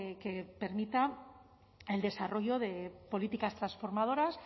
que permita el desarrollo de políticas transformadoras